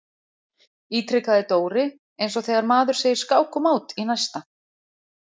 ítrekaði Dóri eins og þegar maður segir skák og mát í næsta.